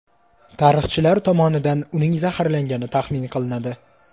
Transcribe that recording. Tarixchilar tomonidan uning zaharlangani taxmin qilinadi.